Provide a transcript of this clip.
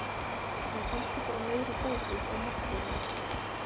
Það er kannski bara meiri fókus á markvörðinn.